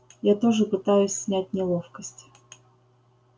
я тоже пытаюсь снять неловкость